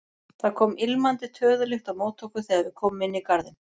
Það kom ilmandi töðulykt á móti okkur þegar við komum inn í garðinn.